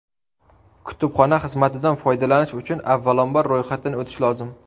Kutubxona xizmatidan foydalanish uchun avvalambor, ro‘yxatdan o‘tish lozim.